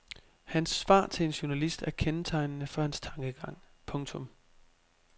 Hans svar til en journalist er kendetegnende for hans tankegang. punktum